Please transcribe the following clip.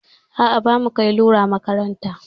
A'a, bamu kai lura makaranta.